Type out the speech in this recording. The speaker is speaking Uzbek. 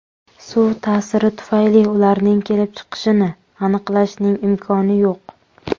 Suv ta’siri tufayli ularning kelib chiqishini aniqlashning imkoni yo‘q.